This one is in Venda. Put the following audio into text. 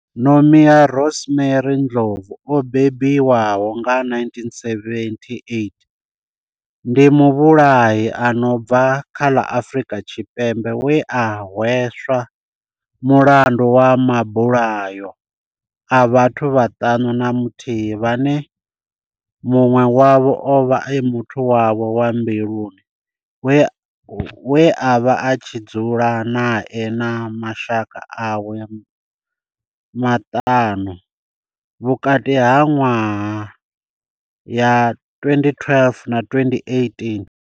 Nomia Rosemary Ndlovu o bebiwaho nga 1978 ndi muvhulahi a no bva kha ḽa Afurika Tshipembe we a hweswa mulandu wa mabulayo a vhathu vhaṱanu na muthihi vhane munwe wavho ovha a muthu wawe wa mbiluni we avha a tshi dzula nae na mashaka awe maṱanu vhukati ha nwaha ya 2012 na 2018.